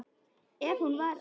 Ef hún var í honum.